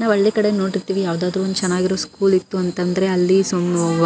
ನಾವು ಹಳ್ಳಿ ಕಡೆ ನೋಡಿರ್ತೀವಿ ಯಾವದೋ ಒಂದು ಚೆನ್ನಾಗಿರೋ ಸ್ಕೂಲ್ ಇತ್ತು ಅಂತಾದ್ರೆ ಅಲ್ಲಿ